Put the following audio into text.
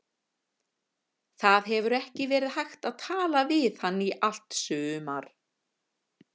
Það hefur ekki verið hægt að tala við hann í allt sumar.